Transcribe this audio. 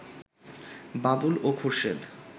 বাবুল ও খোরশেদ